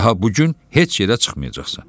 Daha bu gün heç yerə çıxmayacaqsan.